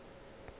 ke be ke sa ke